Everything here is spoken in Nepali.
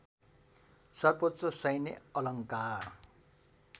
सर्वोच्च सैन्य अलङ्कार